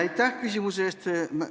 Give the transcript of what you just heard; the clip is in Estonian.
Aitäh küsimuse eest!